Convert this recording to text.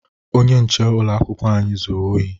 Onye nche ụlọakwụkwọ anyị zuru ohi